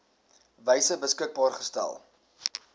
wyse beskikbaar gestel